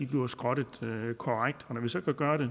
bliver skrottet korrekt og når vi så kan gøre det